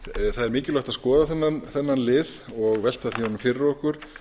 það er mikilvægt að skoða þennan lið og velta honum fyrir okkur